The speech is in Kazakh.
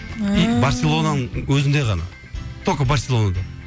ммм и барселонаның өзінде ғана только барселонада